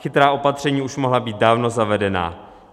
Chytrá opatření už mohla být dávno zavedena.